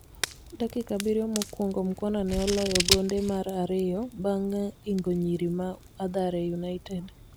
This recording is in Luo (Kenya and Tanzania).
dakika Abiriyo mokuongo Mukhwana ne oloyo gonde mar ariyo bang ingo nyiri ma athare United